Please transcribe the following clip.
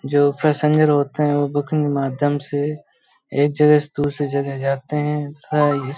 जो पैसेंजर होते हैं वो बुकिंग माध्यम से एक जगह से दूसरे जगह जातें है --